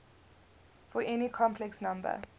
for any complex number